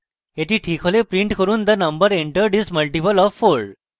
the ঠিক হলে print করুন the number entered is multiple of 4